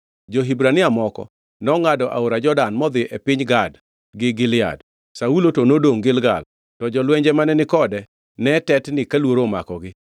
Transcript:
Jo-Hibrania moko nongʼado aora Jordan modhi e piny Gad gi Gilead. Saulo to nodongʼ Gilgal, to jolwenje mane ni kode ne tetni ka luoro omakogi.